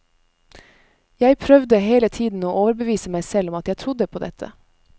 Jeg prøvde hele tiden å overbevise meg selv om at jeg trodde på dette.